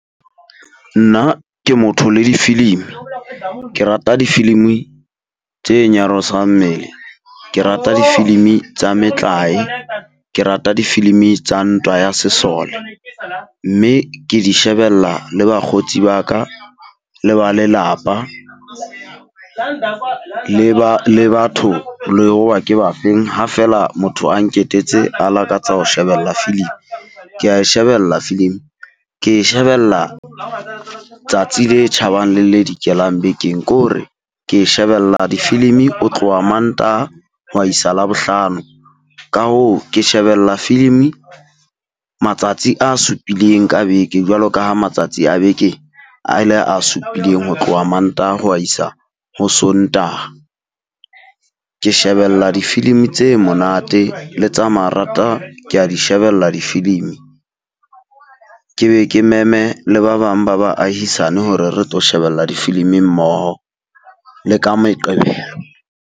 Nna ke motho le di-filimi. Ke rata difilimi tse nyarosang mmele, ke rata difilimi tsa metlae, ke rata difilimi tsa ntwa ya sesole. Mme ke di shebella le bakgotsi ba ka le ba lelapa, le ba le batho le hoba ke ba feng ha feela motho a nketetse a lakatsa ho shebella filim. Kea e shebella filim ke e shebella tsatsi le tjhabang le le dikelang bekeng. Ko hore ke shebella dififilimi o tloha Mantaha ho wa isa Labohlano, ka hoo ke shebella filimi matsatsi a supileng ka beke jwalo ka ha matsatsi a beke a ile a supileng ho tloha Mantaha ho wa isa ho Sontaha. Ke shebella difilimi tse monate le tsa marata kea di shebella difilimi. Ke be ke meme le ba bang ba baahisane hore re tlo shebella difilimi mmoho le ka Meqebelo.